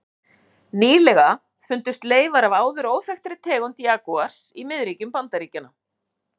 Nýlega fundust leifar af áður óþekktri tegund jagúars í miðríkjum Bandaríkjanna.